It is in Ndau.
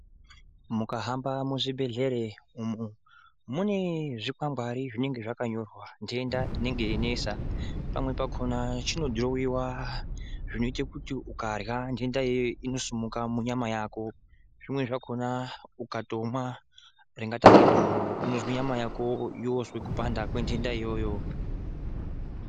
Mukahamba muzvibhedhlere umwu mune zvikwangwari zvinenge zvakanyorwa ntenda inenge yeinesa pamwe pakhona chinodhirowiwa zvinoite kuti ukarya ntenda iyoyo inosimuka munyama yako, zvimweni zvakhona ungatomwa zvakaite kunge doro unozwe nyama yako yoozwe kupanda kwentenda iyoyo.